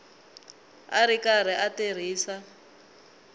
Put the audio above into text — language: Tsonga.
a ri karhi a tirhisa